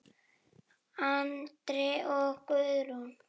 Andri og Guðrún.